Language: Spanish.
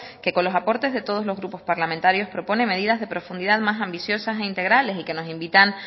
que con los aportes de todos los grupos parlamentarios propone medidas de profundidad más ambiciosas e integrales y que nos invitan